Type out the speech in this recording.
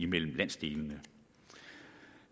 mellem landsdelene